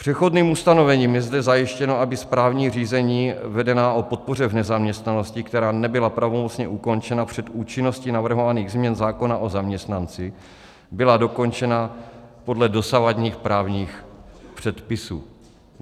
Přechodným ustanovením je zde zajištěno, aby správní řízení vedená o podpoře v nezaměstnanosti, která nebyla pravomocně ukončena před účinností navrhovaných změn zákona o zaměstnanosti, byla dokončena podle dosavadních právních předpisů.